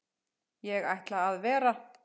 Ég ætla að vera.